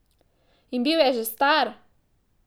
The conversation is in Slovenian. In bil je že star!